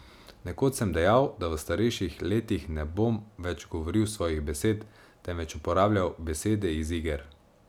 Nekoč sem dejal, da v starejših letih ne bom več govoril svojih besed, temveč uporabljal besede iz iger.